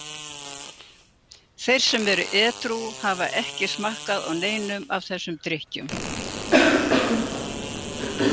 Þeir sem eru edrú hafa ekki smakkað á neinum af þessum drykkjum.